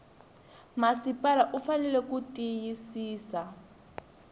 masipala u fanele ku tiyisisa